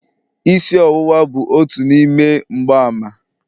Isi ọwụwa bụ otu n'ime mgbaàmà..